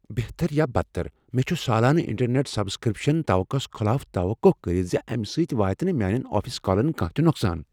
بہتر یا بدتر، مےٚ چھ سالانہٕ انٹرنیٹ سبسکرپشن، توقعہس خلاف توقع کٔرتھ ز امہ سۭتۍ واتہ نہٕ میانین آفس کالن کانٛہہ تہ نقصان۔